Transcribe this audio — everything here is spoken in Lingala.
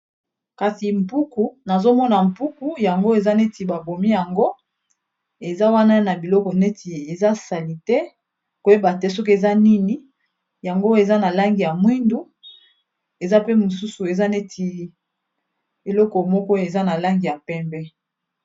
Kasi mpuku, nazo mona mpuku yango eza neti ba bomi yango. Eza wana na biloko neti eza salite koyeba te soki eza nini yango, eza na langi ya mwindu eza pe mosusu eza neti eloko moko eza na langi ya pembe.